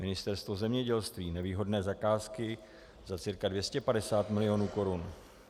Ministerstvo zemědělství, nevýhodné zakázky za cirka 250 milionů korun.